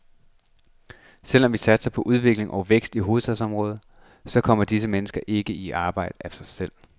Selv om vi satser på udvikling og vækst i hovedstadsområdet, så kommer disse mennesker ikke i arbejde af sig selv.